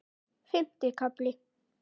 Fimmti kafli